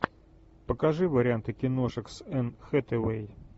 покажи варианты киношек с энн хэтэуэй